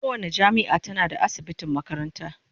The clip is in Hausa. Kowace jami'a tana da asibitin makaranta.